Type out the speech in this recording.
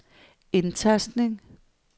indtastning